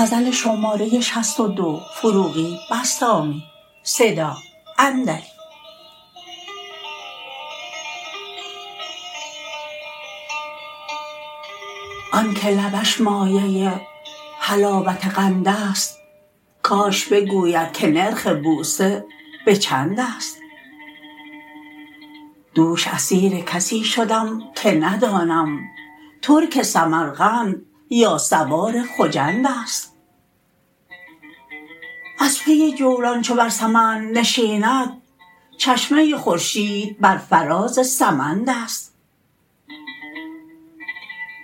آن که لبش مایه حلاوت قند است کاش بگوید که نرخ بوسه به چند است دوش اسیر کسی شدم که ندانم ترک سمرقند یا سوار خجند است از پی جولان چو بر سمند نشیند چشمه خورشید بر فراز سمند است